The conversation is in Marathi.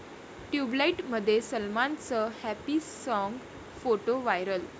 ट्युबलाइट'मध्ये सलमानचं हॅपी साँग, फोटो वायरल